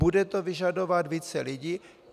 Bude to vyžadovat více lidí.